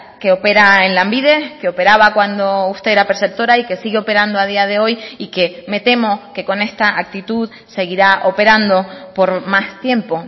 que opera en lanbide que operaba cuando usted era perceptora y que sigue operando a día de hoy y que me temo que con esta actitud seguirá operando por más tiempo